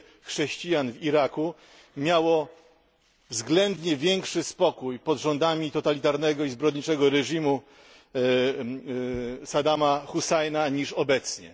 chrześcijan w Iraku miało względnie większy spokój pod rządami totalitarnego i zbrodniczego reżimu Saddama Hussaina niż obecnie.